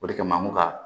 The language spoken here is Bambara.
O de kama an bɛ ka